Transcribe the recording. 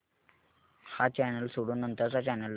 हा चॅनल सोडून नंतर चा चॅनल लाव